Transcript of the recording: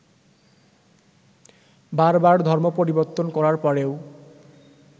বারবার ধর্ম পরিবর্তন করার পরেও